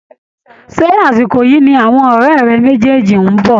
Ṣé àsìkò yìí ni àwọn ọ̀rẹ́ méjèèjì ń bọ̀?